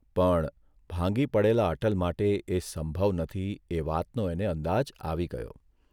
પણ ભાંગી પડેલા અટલ માટે એ સંભવ નથી એ વાતનો એને અંદાજ આવી ગયો.